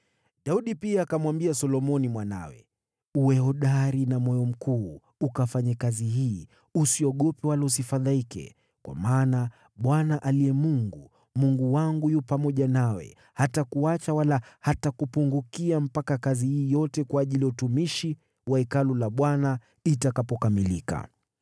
Daudi pia akamwambia Solomoni mwanawe, “Uwe hodari na moyo mkuu, ukafanye kazi hii. Usiogope wala usifadhaike, kwa maana Bwana aliye Mungu, Mungu wangu yu pamoja nawe. Hatakuacha wala hatakupungukia mpaka kazi hii yote kwa ajili ya utumishi wa Hekalu la Bwana itakapokamilika.